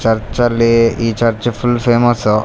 ಚರ್ಚ್ಅಲ್ಲಿ ಈ church full famous .